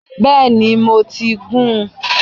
Bẹ́ẹ̀ni, mo ti gún-un